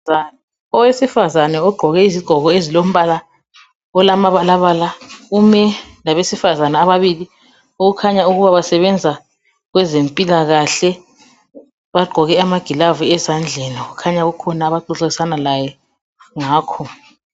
Owesifazana ogqoke izigqoko ezilombala olamabalabala. Ume labasifazana ababili. Okukhanya ukuba basebenza kwezempilakahle. Bagqoke amagilavu ezandleni. Kukhanya bakhona abaxoxisana laye ngakho.